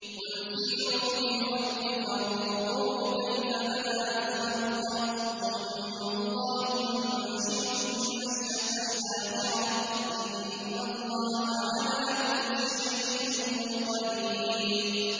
قُلْ سِيرُوا فِي الْأَرْضِ فَانظُرُوا كَيْفَ بَدَأَ الْخَلْقَ ۚ ثُمَّ اللَّهُ يُنشِئُ النَّشْأَةَ الْآخِرَةَ ۚ إِنَّ اللَّهَ عَلَىٰ كُلِّ شَيْءٍ قَدِيرٌ